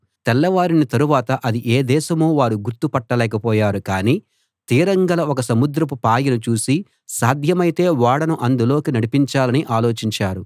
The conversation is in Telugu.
తెల్లవారిన తరవాత అది ఏ దేశమో వారు గుర్తు పట్టలేకపోయారు కానీ తీరం గల ఒక సముద్రపు పాయను చూసి సాధ్యమైతే ఓడను అందులోకి నడిపించాలని ఆలోచించారు